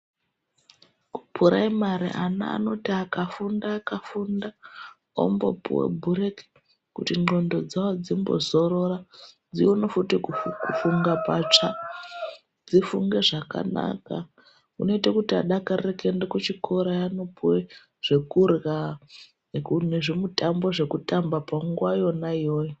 Kupuraimari ana anoti akafunda, akafunda ombopuwa bhureki kuti ndlqondo dzawo dzimbozorora, dzione futi kufunga patsva dzifunge zvakanaka zvinoite kuti adakarire kuende kuchikora anopuwa zvekurhya nezvimutambo zvekutamba panguwa yona iyoyo.